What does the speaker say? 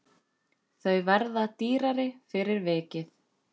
Þau verða dýrari fyrir vikið.